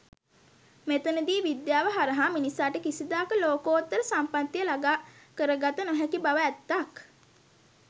මෙතනදී විද්‍යාව හරහා මිනිසාට කිසිදාක ලෝකෝත්තර සම්පත්තිය ළගා කරගත නොහැකි බව ඇත්තක්.